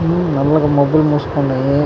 ఉహ్ నల్లగా మబ్బులు మూసుకున్నాయి.